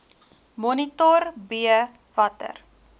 monitor b watter